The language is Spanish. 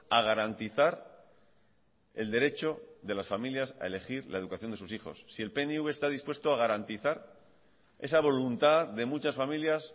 a garantizar el derecho de las familias a elegir la educación de sus hijos si el pnv está dispuesto a garantizar esa voluntad de muchas familias